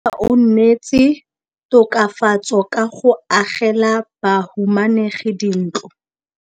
Mmasepala o neetse tokafatsô ka go agela bahumanegi dintlo.